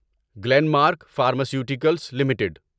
Glenn mark pharmaceuticals limited